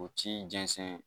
O ci jɛnsɛn